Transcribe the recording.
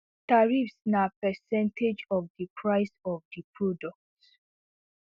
tariffs na percentage of di price of di product